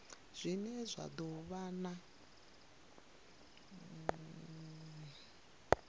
zwine zwa do vha na